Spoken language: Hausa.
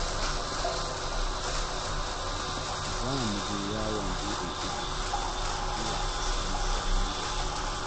Za mu je yawon buɗe ido zuwa ƙasar Misira ni da shi